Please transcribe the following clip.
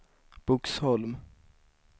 Boxholm